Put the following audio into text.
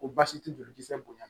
Ko baasi tɛ jolikisɛ bonya